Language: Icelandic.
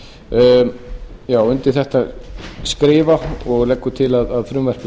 um losun koldíoxíðs undir þetta skrifa og leggja til að frumvarpið